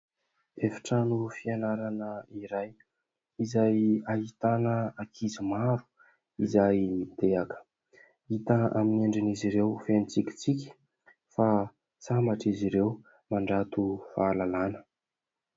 Efi-trano fianarana iray izay ahitana ankizy maro izay mitehaka. Hita amin'ny endrin'izy ireo feno tsikitsiky fa sambatra izy ireo mandrato fahalalàna.